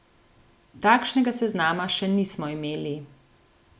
Takšnega seznama še nismo imeli.